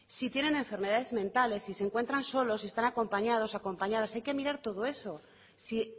si tienen enfermedades mentales si se encuentran solos si están acompañados acompañadas hay que mirar todo eso si